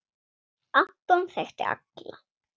Anton þekkti alla.